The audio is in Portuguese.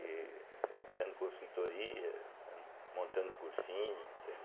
E dando consultoria, dando montando cursinho, entende?